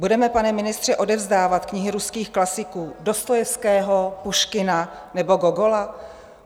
Budeme, pane ministře, odevzdávat knihy ruských klasiků Dostojevského, Puškina nebo Gogola?